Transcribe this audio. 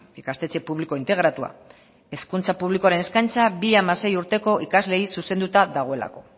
ikastetxe publiko integratua hezkuntza publikoaren eskaintza bi hamasei urteko ikasleei zuzenduta dagoelako